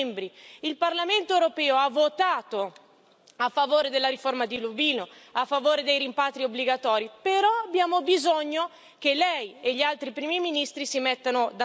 Il Parlamento europeo ha votato a favore della riforma di Dublino, a favore dei rimpatri obbligatori, però abbiamo bisogno che Lei e gli altri primi ministri si mettano d'accordo.